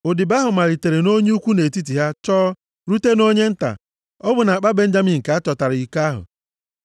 Odibo ahụ malitere nʼonye ukwu nʼetiti ha chọọ rute nʼonye nta. Ọ bụ nʼakpa Benjamin ka a chọtara iko ahụ.